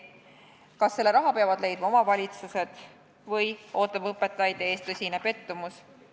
Kas selle raha peavad leidma omavalitsused või ootab õpetajaid ees tõsine pettumus?